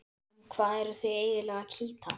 Um hvað eruð þið eiginlega að kýta?